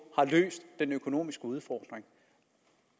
har løst den økonomiske udfordring